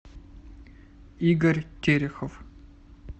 игорь терехов